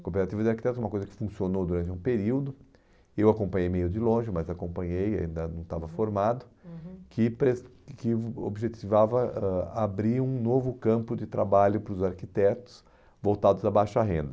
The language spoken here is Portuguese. A cooperativa de arquitetos é uma coisa que funcionou durante um período, eu acompanhei meio de longe, mas acompanhei, ainda não estava formado, uhum uhum que pres que objetivava ãh abrir um novo campo de trabalho para os arquitetos voltados a baixa renda.